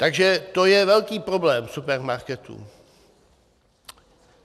Takže to je velký problém supermarketů.